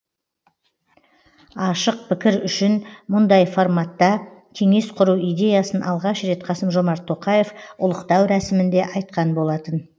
ашық пікір үшін мұндай форматта кеңес құру идеясын алғаш рет қасым жомарт тоқаев ұлықтау рәсімінде айтқан болатын